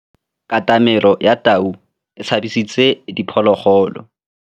Katamêlô ya tau e tshabisitse diphôlôgôlô.